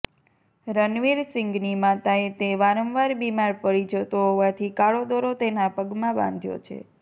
રનવિર સીંગની માતાએ તે વારંવાર બિમાર પડી જતો હોવાથી કાળો દોરો તેના પગમાં બાંધ્યો છે